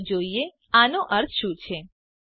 ચાલો જોઈએ આનો શું અર્થ છે